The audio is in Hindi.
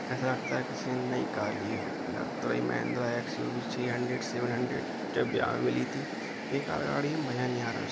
ऐसा लगता है किसी ने नयी कार ली है लग तो रही महिंद्रा एक्स-यु-वी सी हंड्रेड सेवन हंड्रेड जो बयाह में मिली थी । बेकार गाड़ी है मज़ा नहीं आ रहा इस--